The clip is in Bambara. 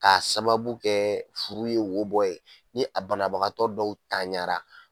K'a sababu kɛ furu ye wo bɔ ye ni a banabagatɔ dɔw taɲara